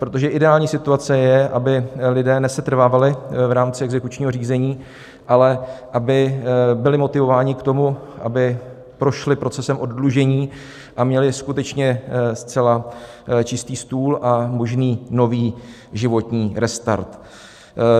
Protože ideální situace je, aby lidé nesetrvávali v rámci exekučního řízení, ale aby byli motivováni k tomu, aby prošli procesem oddlužení a měli skutečně zcela čistý stůl a možný nový životní restart.